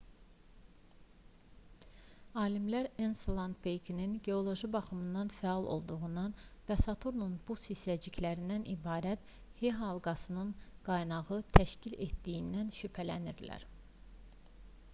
alimlər enselad peykinin geoloji baxımdan fəal olduğundan və saturnun buz hissəciklərindən ibarət e-halqasının qaynağını təşkil etdiyindən şübhələnirlər